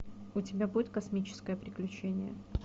у тебя будет космическое приключение